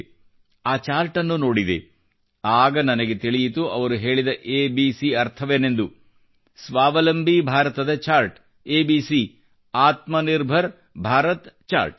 ನಾನು ಆ ಚಾರ್ಟನ್ನು ನೋಡಿದೆ ಆಗ ನನಗೆ ತಿಳಿಯಿತು ಅವರು ಹೇಳಿದ ಎಬಿಸಿ ಅರ್ಥವೇನೆಂದು ಸ್ವಾವಲಂಬಿ ಭಾರತದ ಚಾರ್ಟ್ ಎಬಿಸಿ ಆತ್ಮ ನಿರ್ಭರ್ ಭಾರತ್ ಚಾರ್ಟ್